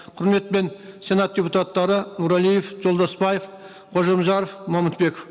құрметпен сенат депутаттары нұрәлиев жолдасбаев қожамжаров момытбеков